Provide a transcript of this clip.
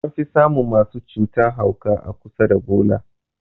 An fi samun masu cutan mahauka a kusa da bola.